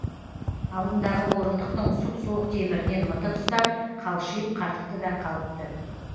алдындағы орындықтың сұп суық темірінен мытып ұстап қалшиып қатыпты да қалып ты